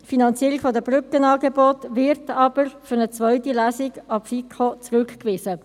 die Finanzierung der Brückenangebote wird aber für eine zweite Lesung an die FiKo zurückgewiesen.